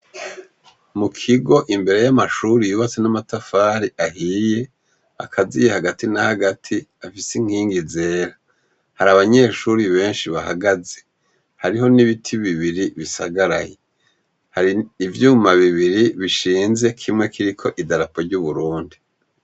Mukigo imbere y'amashure yubatse n'amatafari ahiye akaziye hagati na hagati afise inkingi zera. Hari abanyeshure benshi bahagaze, hariho n'ibiti bibiri bisagaraye, hari ivyuma bibiri bishinze kimwe kiriko idarapo ry'Uburundi.